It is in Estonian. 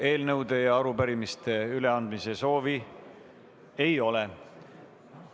Eelnõude ja arupärimiste üleandmise soovi ei ole.